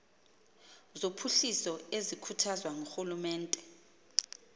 zophuhliso ezikhuthazwa ngurhulumente